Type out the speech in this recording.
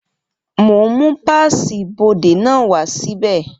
Mo ń mú páàsì ibodè náà wá sí bẹ̀